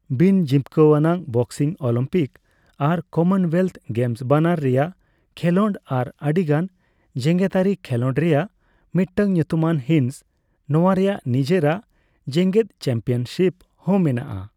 ᱵᱤᱱ ᱡᱤᱵᱽᱠᱟᱹᱣᱟᱱ boxing Olympic ᱟᱨ Commonwealth games ᱵᱟᱱᱟᱨ ᱨᱮᱭᱟᱜ ᱠᱷᱮᱞᱚᱸᱰ ᱟᱨ ᱟᱹᱰᱤᱜᱟᱱ ᱡᱮᱜᱮᱛᱟᱹᱨᱤ ᱠᱷᱮᱞᱚᱸᱰ ᱨᱮᱭᱟᱜ ᱢᱤᱫᱴᱟᱝ ᱧᱩᱛᱩᱢᱟᱱ ᱦᱤᱸᱥ ᱾ ᱱᱚᱣᱟ ᱨᱮᱭᱟᱜ ᱱᱤᱡᱮᱨᱟᱜ ᱡᱮᱜᱮᱫ ᱪᱟᱢᱯᱤᱭᱚᱱᱥᱤᱯ ᱦᱚᱸ ᱢᱮᱱᱟᱜᱼᱟ ᱾